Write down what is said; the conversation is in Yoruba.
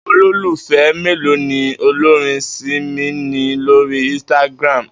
Àwo̩n olólùfé̩ mélòó ni olórin Simi ní lórí instagram?